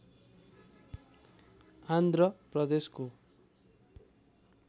आन्ध्र प्रदेशको